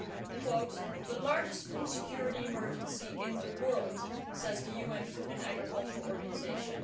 I quote The largest food security emergency in the world', says the UN Food and Agriculture Organization